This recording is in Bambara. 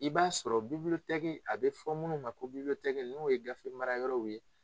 I b'a sɔrɔ a bɛ fɔ minnu ma ko n'o ye gafemarayɔrɔw ye